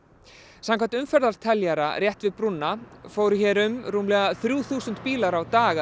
samkvæmt teljara rétt við brúna fóru hér um að rúmlega þrjú þúsund bílar á dag